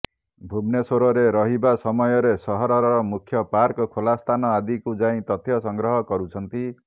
ଭୁବନେଶ୍ବରରେ ରହିବା ସମୟରେ ସହରର ମୁଖ୍ୟ ପାର୍କ ଖୋଲା ସ୍ଥାନ ଆଦିକୁ ଯାଇ ତଥ୍ୟ ସଂଗ୍ରହ କରୁଛନ୍ତି